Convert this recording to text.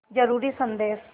ज़रूरी संदेश